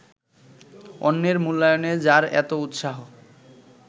অন্যের মূল্যায়নে যাঁর এত উত্সাহ